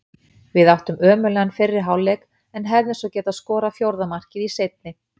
Við áttum ömurlegan fyrri hálfleik en hefðum svo geta skorað fjórða markið í seinni.